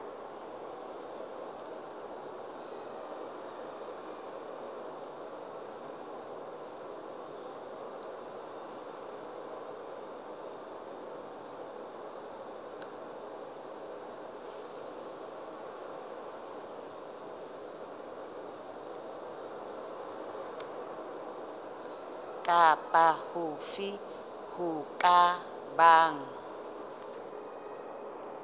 kapa hofe ho ka bang